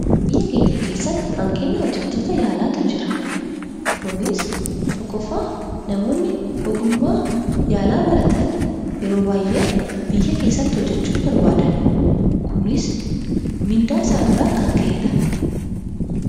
Biyya keenya keessatti hanqina hojjettoota yaalaatu jira, Kunis tokkoffaa namoonni ogummaa yaalaa baratan yeroo baayyee biyya keessatti hojjechuu hin barbaadan. Kunis mindaa isaaniirraa kan ka'edha.